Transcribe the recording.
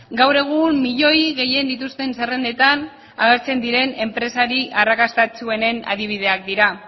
gaur egun milioi gehien dituzten zerrendetan agertzen diren enpresari arrakastatsuenen adibideak dira